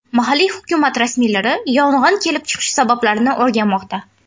Mahalliy hukumat rasmiylari yong‘in kelib chiqishi sabablarini o‘rganmoqda.